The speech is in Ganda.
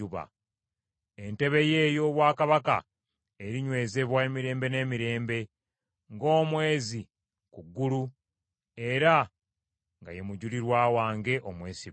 Entebe ye ey’obwakabaka erinywezebwa emirembe n’emirembe, ng’omwezi ku ggulu era nga ye mujulirwa wange omwesigwa.